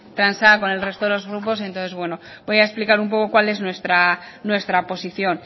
transada con el resto de los grupos voy a explicar un poco cual es nuestra posición